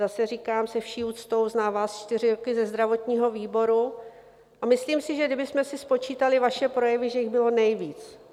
Zase říkám se vší úctou, znám vás čtyři roky ze zdravotního výboru, a myslím si, že kdybychom si spočítali vaše projevy, že jich bylo nejvíc.